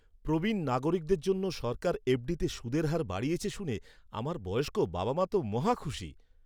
প্রবীণ নাগরিকদের জন্য সরকার এফডিতে সুদের হার বাড়িয়েছে শুনে, আমার বয়স্ক বাবা মা তো মহা খুশি।